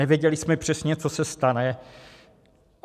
Nevěděli jsme přesně, co se stane.